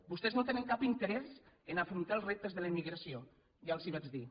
vostès no tenen cap interès a afrontar els reptes de la immigració ja els ho vaig dir